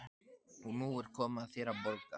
Og nú er komið að þér að borga.